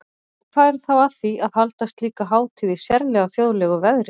Og hvað er þá að því að halda slíka hátíð í sérlega þjóðlegu veðri?